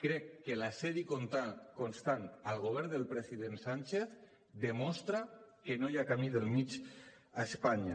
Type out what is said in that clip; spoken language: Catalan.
crec que l’assetjament constant al govern del president sánchez demostra que no hi ha camí del mig a espanya